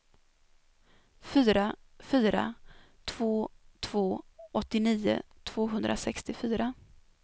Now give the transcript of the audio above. fyra fyra två två åttionio tvåhundrasextiofyra